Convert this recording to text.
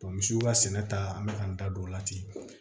misiw ka sɛnɛ ta an bɛ ka n da don o la ten